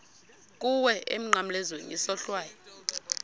kuwe emnqamlezweni isohlwayo